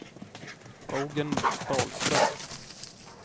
Eugen Dahlström